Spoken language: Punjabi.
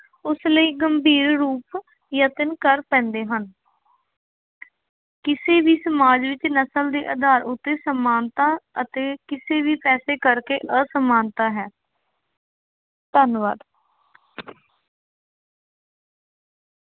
ਉਸ ਲਈ ਗੰਭੀਰ ਰੂਪ ਯਤਨ ਕਰ ਪੈਂਦੇ ਹਨ। ਕਿਸੇ ਵੀ ਸਮਾਜ ਵਿੱਚ ਨਸਲ ਦੇ ਆਧਾਰ ਉੱਤੇ ਸਮਾਨਤਾ ਅਤੇ ਕਿਸੇ ਵੀ ਪੈਸੇ ਕਰਕੇ ਅਸਮਾਨਤਾ ਹੈ ਧੰਨਵਾਦ।